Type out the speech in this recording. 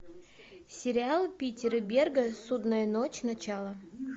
сериал питера берга судная ночь начало